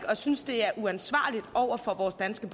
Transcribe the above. synes det er uansvarligt over for vores danske